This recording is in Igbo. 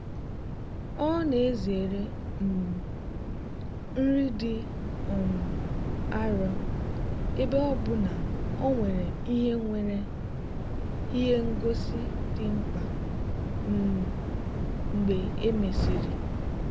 ọ na-ezere um nri dị um arọ ebe ọ bụ na o nwere ihe nwere ihe ngosi dị mkpa um mgbe e mesịrị.